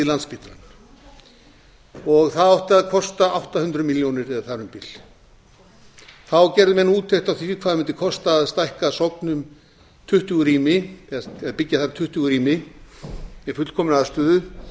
landspítalann það átti að kosta átta hundruð milljónir eða þar um bil þá gerðu menn úttekt á því hvað mundi kosta að stækka sogn um tuttugu rými eða byggja þar tuttugu rými með fullkominni aðstöðu